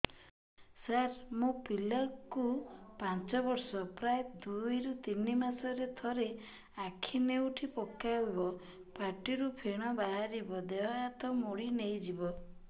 ସାର ମୋ ପିଲା କୁ ପାଞ୍ଚ ବର୍ଷ ପ୍ରାୟ ଦୁଇରୁ ତିନି ମାସ ରେ ଥରେ ଆଖି ନେଉଟି ପକାଇବ ପାଟିରୁ ଫେଣ ବାହାରିବ ଦେହ ହାତ ମୋଡି ନେଇଯିବ